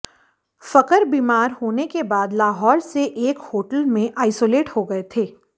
फखर बीमार होने के बाद लाहौर से एक होटल में आइसोलेट हो गए थे